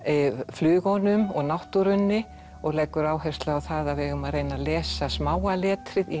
flugunum og náttúrunni og leggur áherslu á það að við eigum að reyna að lesa smáa letrið í